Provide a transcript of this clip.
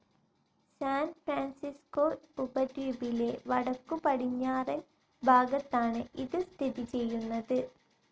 San Francisco ഉപദ്വീപിലെ വടക്കുപടിഞ്ഞാറൻ ഭാഗത്താണ് ഇത് സ്ഥിതി ചെയ്യുന്നത്.